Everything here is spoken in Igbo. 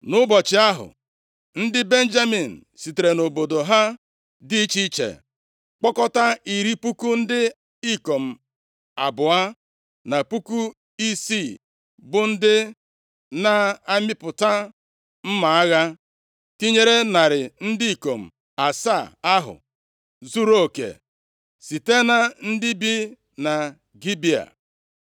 Nʼụbọchị ahụ, ndị Benjamin sitere nʼobodo ha dị iche iche kpọkọta iri puku ndị ikom abụọ na puku isii bụ ndị na-amịpụta mma agha, tinyere narị ndị ikom asaa ahụ zuruoke site na ndị bi na Gibea.